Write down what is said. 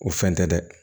O fɛn tɛ dɛ